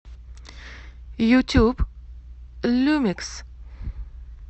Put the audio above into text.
ютюб люмикс